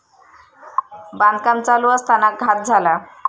बांधकाम चालू असताना घात झाला.